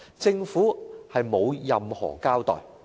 政府沒有任何交代。